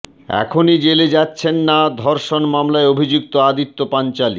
এখনই জেলে যাচ্ছেন না ধর্ষণ মামলায় অভিযুক্ত আদিত্য পাঞ্চোলী